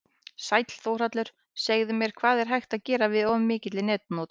Sæll Þórhallur, segðu mér, hvað er hægt að gera við of mikilli netnotkun?